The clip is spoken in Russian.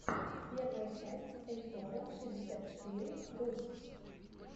первая часть эльторро шестьдесят четыре рус